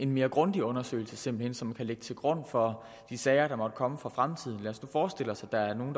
mere grundig undersøgelse simpelt hen som kan ligge til grund for de sager der måtte komme i fremtiden lad os nu forestille os at der er nogle